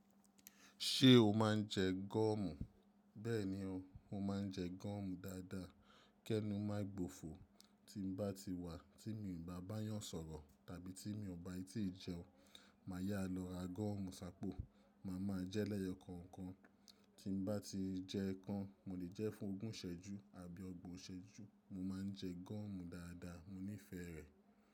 Ṣé o máa ń jẹ gọ́omù? Bẹ́ẹ̀ni o, mo máa ń jẹ gúọ́mù dáadáa. Kẹ́nu má ì gbòfo, tí n bá ti wà, tí mi ò bá báyàn sọ̀rọ̀ tàbí tí mi ò bái tí ì jẹun, màá yá lọ ra goọ́mù sápó, màá máa jẹ́ lẹ́yọkọ̀ọ̀kan. Tí n bá ti jẹ kan, mo lè jẹ́ fún ogún ìsẹ́jú àbí ọgbọ̀n ìsẹ́jú. Mo máa ń jẹ gúọ́mù dáadáa. Mo nífẹ̀ẹ́ rẹ̀.